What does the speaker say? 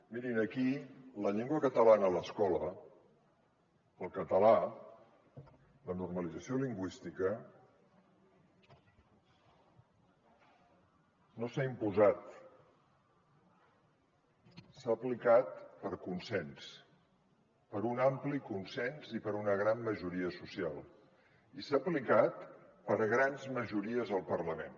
mirin aquí la llengua catalana a l’escola el català la normalització lingüística no s’ha imposat s’ha aplicat per consens per un ampli consens i per una gran majoria social i s’ha aplicat per grans majories al parlament